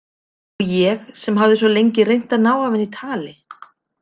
Og ég sem hafði svo lengi reynt að ná af henni tali?